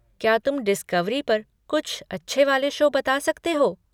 क्या तुम डिस्कवरी पर कुछ अच्छे वाले शो बता सकते हो?